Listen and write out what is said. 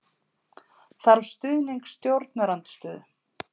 Þarf stuðning stjórnarandstöðu